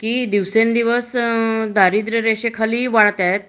की दिवसेंदिवस दारिद्र्यरेषेखालील वाढताहेत